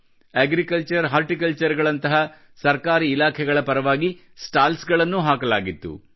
agriculture horticulture ಗಳಂಥಹ ಸರ್ಕಾರಿ ಇಲಾಖೆಗಳ ಪರವಾಗಿ ಸ್ಟಾಲ್ಸ್ ಗಳನ್ನೂ ಹಾಕಲಾಗಿತ್ತು